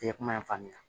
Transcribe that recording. I ye kuma in faamuya